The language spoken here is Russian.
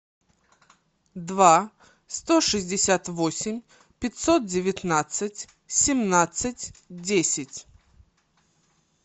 два сто шестьдесят восемь пятьсот девятнадцать семнадцать десять